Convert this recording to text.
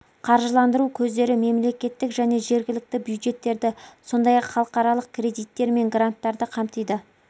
қаржыландыру көздері мемлекеттік және жергілікті бюджеттерді сондай-ақ халықаралық кредиттер мен гранттарды қамтиды